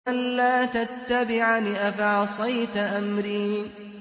أَلَّا تَتَّبِعَنِ ۖ أَفَعَصَيْتَ أَمْرِي